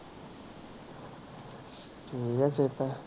ਠੀਕ ਆ ਸਿਹਤਾਂ